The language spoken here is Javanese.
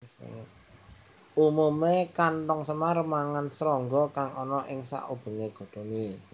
Umumé kanthong semar mangan srangga kang ana ing saubengé godhongé